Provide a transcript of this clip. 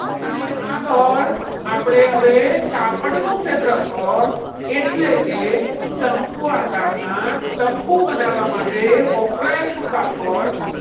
ને આગળ આપણે હવે કાપડ નું ક્ષેત્રફળ એટલે કે શંકુ આકારના તંબુ બનાવવા માટે વપરાયેલું કાપડ